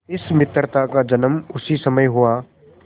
इस मित्रता का जन्म उसी समय हुआ